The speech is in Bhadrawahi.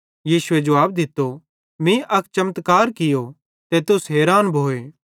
यीशुए जुवाब दित्तो मीं अक चमत्कार कियो ते तुस हैरान भोए